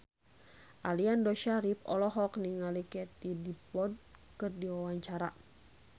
Aliando Syarif olohok ningali Katie Dippold keur diwawancara